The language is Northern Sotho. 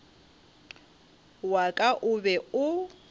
wa ka o be o